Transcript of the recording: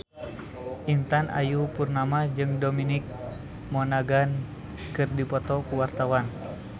Intan Ayu Purnama jeung Dominic Monaghan keur dipoto ku wartawan